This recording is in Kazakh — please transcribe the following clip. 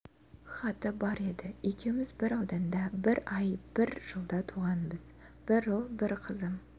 хаты бар еді екеуіміз бір ауданда бір ай бір жылда туғанбыз бір ұл бір қызым